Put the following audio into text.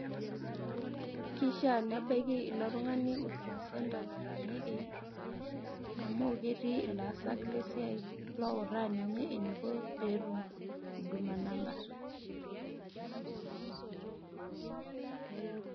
Kishiaa nebaiki ilo tung'ani Huduma Centre nataaniki amu ketii ilaasak lesiai loutaa ninye eniko pee etum Huduma Number.